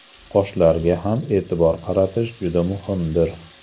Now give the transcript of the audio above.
Qoshlarga ham e’tibor qaratish juda muhimdir.